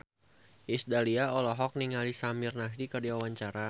Iis Dahlia olohok ningali Samir Nasri keur diwawancara